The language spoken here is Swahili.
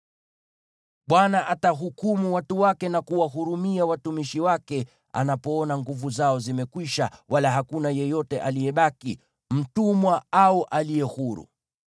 Bwana atawahukumu watu wake, na kuwahurumia watumishi wake atakapoona nguvu zao zimekwisha wala hakuna yeyote aliyebaki, mtumwa au aliye huru.